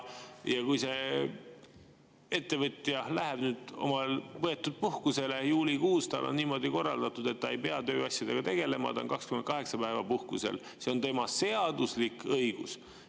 Ja see ettevõtja läheb nüüd puhkusele juulikuus, tal on niimoodi korraldatud, et ta ei pea tööasjadega tegelema, ta on 28 päeva puhkusel, see on tema seaduslik õigus.